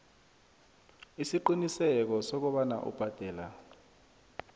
isiqiniseko sokobana ubhadela